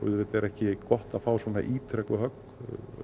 auðvitað er ekki gott að fá svona ítrekuð högg